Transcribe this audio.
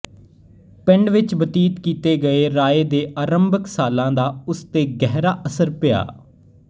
ਪਿੰਡ ਵਿੱਚ ਬਤੀਤ ਕੀਤੇ ਗਏ ਰਾਏ ਦੇ ਆਰੰਭਕ ਸਾਲਾਂ ਦਾ ਉਸ ਤੇ ਗਹਿਰਾ ਅਸਰ ਪਿਆ